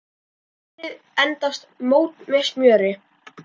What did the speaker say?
Penslið eldfast mót með smjöri.